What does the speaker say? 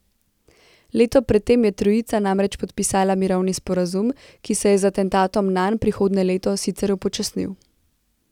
Leto pred tem je trojica namreč podpisala mirovni sporazum, ki se je z atentatom nanj prihodnje leto sicer upočasnil.